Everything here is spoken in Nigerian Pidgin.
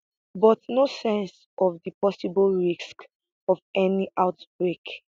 but no sense of di possible risks of any outbreak